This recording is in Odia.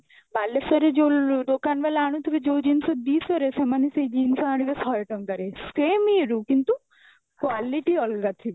ବାଲେଶ୍ଵର ରେ ଯୋଉ ଦୋକାନ ବାଲା ଆଣୁଥିବେ ଯୋଉ ଜିନିଷ ଦିଶହ ରେ ସେମାନେ ସେଇ ଜିନିଷ ଆଣିବେ ଶହେ ଟଙ୍କାରେ same ଇଏରେ କିନ୍ତୁ quality ଅଲଗା ଥିବ